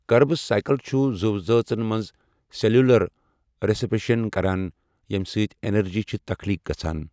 Krebs cycle چھُ زو زٲژن مَنٛز سیلیولَر ریسپایریشَن کَران یَمہٕ سۭتۍ اینرجی چھِ تَخلیٖق گَژھان۔